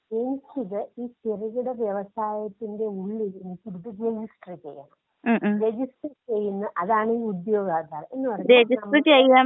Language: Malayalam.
അപ്പോ എനിക്കിത് ഈ ചെറുകിട വ്യവസായത്തിന്റെ ഉള്ളിൽ എനിക്കിത് രജിസ്റ്റർ ചെയ്യണം. രജിസ്റ്റർ ചെയ്യുന്ന അതാണീ ഉദ്യോഗാധാർ. എന്ന് പറഞ്ഞാ *നോട്ട്‌ ക്ലിയർ*.